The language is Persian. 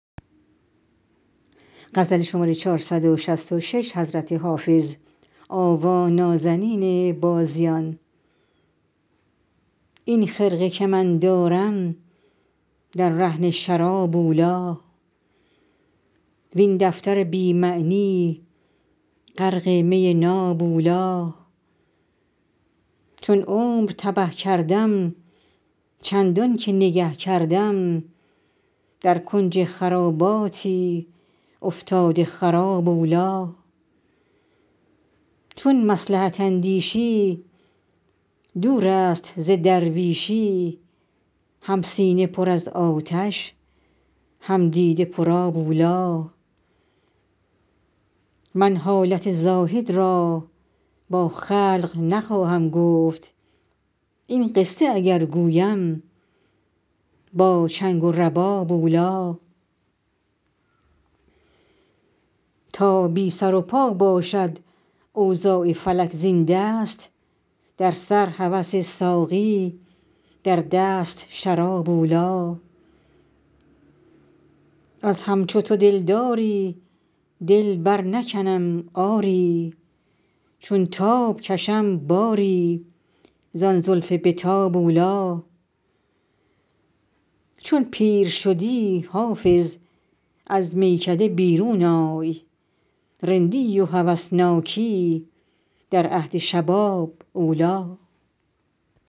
این خرقه که من دارم در رهن شراب اولی وین دفتر بی معنی غرق می ناب اولی چون عمر تبه کردم چندان که نگه کردم در کنج خراباتی افتاده خراب اولی چون مصلحت اندیشی دور است ز درویشی هم سینه پر از آتش هم دیده پرآب اولی من حالت زاهد را با خلق نخواهم گفت این قصه اگر گویم با چنگ و رباب اولی تا بی سر و پا باشد اوضاع فلک زین دست در سر هوس ساقی در دست شراب اولی از همچو تو دلداری دل برنکنم آری چون تاب کشم باری زان زلف به تاب اولی چون پیر شدی حافظ از میکده بیرون آی رندی و هوسناکی در عهد شباب اولی